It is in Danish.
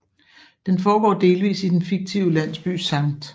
Den foregår delsvis i den fiktive landsby St